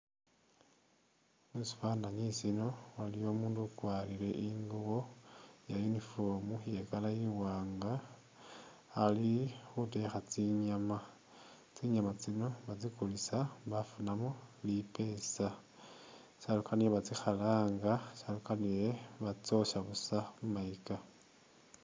Musifanani sino waliyo umundu ukwarile ingubo ya'uniform iye color i'wanga alikhutekha tsinyama tsinyama tsino batsikulisa bafunamo lipesa shalukanile batsikhalanga shalukanile batsyosha buusa khumayika